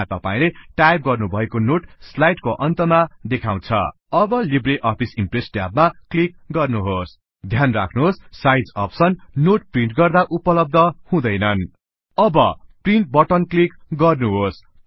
त्यहाँ तपाईले टाइप गर्नुभएको नोट स्लाइड को अन्त मा देखाउँछ अब लिबरअफिस इम्प्रेस ट्याब मा क्लीक गर्नुहोस् ध्यान राख्नुहोस साइज अप्सन नोट प्रिन्ट गर्दा उपलब्ध हुँदैनन अब प्रिन्ट बटन क्लीक गर्नुहोस्